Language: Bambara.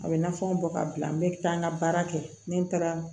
A bɛ nafanw bɔ ka bila n bɛ taa n ka baara kɛ ni n taara